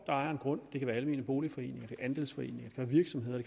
ejer en grund det kan være almene boligforeninger andelsforeninger virksomheder